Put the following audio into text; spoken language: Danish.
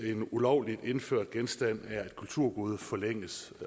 en ulovligt indført genstand er et kulturgode forlænges